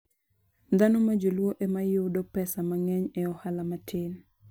Dhano ma joluo ema yudo pesa mang'eny e ohala matin.